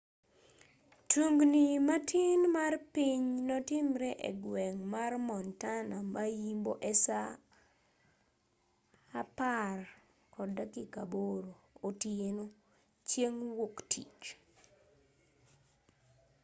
tungni matin mar piny notimre egweng' mar montana ma-yimbo e saa 10:08 otieno chieng' wuok tich